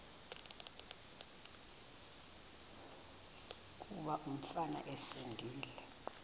kuba umfana esindise